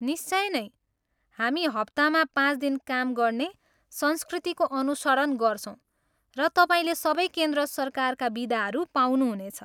निश्चिय नै, हामी हप्तामा पाँच दिन काम गर्ने संस्कृतिको अनुसरण गर्छौँ र तपाईँले सबै केन्द्र सरकारका बिदाहरू पाउनुहुनेछ।